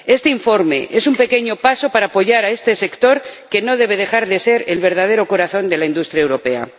Este informe es un pequeño paso para apoyar a este sector, que no debe dejar de ser el verdadero corazón de la industria europea.